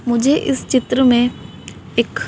मुझे इस चित्र में एक--